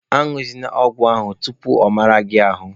A ñụzịna ọgwụ ahụ tupu ọ mara gị ahụ!